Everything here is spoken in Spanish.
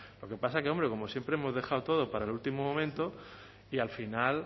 lo que pasa que como siempre hemos dejado todo para el último momento y al final